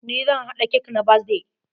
NI zan haa cake na birthdayn.